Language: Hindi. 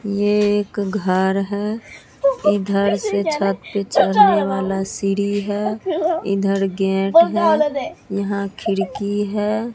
ये एक घर है इधर से छत पे चढ़ना वाला सीढ़ी है इधर गेट है यहां खिड़की है।